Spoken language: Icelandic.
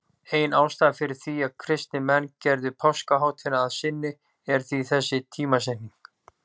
Ein ástæðan fyrir því að kristnir menn gerðu páskahátíðina að sinni er því þessi tímasetning.